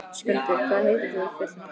Skjöldur, hvað heitir þú fullu nafni?